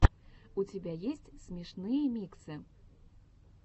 у тебя есть смешные миксы